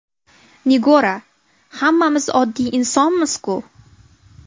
Nigora: Hammamiz oddiy insonmiz-ku.